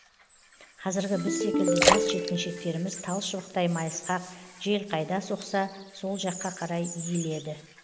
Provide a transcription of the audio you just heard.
қазіргі біз секілді жас жеткіншектеріміз тал шыбықтай майысқақ жел қайда соқса сол жаққа қарай иіледі